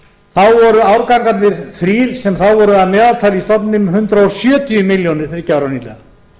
sinnum voru árgangarnir þrír sem þá voru að meðaltali í stofni með hundrað sjötíu milljónir þriggja ára nýliða